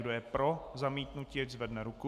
Kdo je pro zamítnutí, ať zvedne ruku.